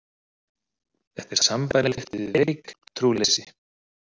Þetta er sambærilegt við veikt trúleysi.